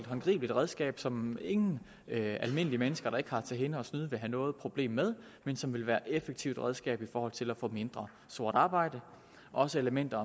håndgribeligt redskab som ingen almindelige mennesker der ikke har til hensigt at snyde vil have noget problem med men som vil være et effektivt redskab i forhold til at få mindre sort arbejde også elementer